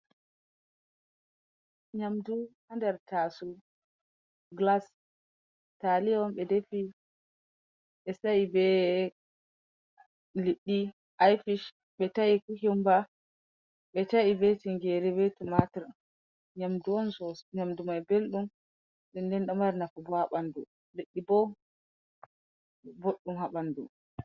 Nyamdu hander tasow glas, taliya on ɓe dafi ɓe sa'e be liɗɗi ifish, Ɓe tae kyukyumba, ɓe ta'e be tingere be tumatur. Nyamdu mai belɗum dinnen bo domari njamu boddum ha ɓaŋdu.